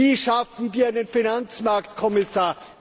Wie schaffen wir einen Finanzmarktkommissar?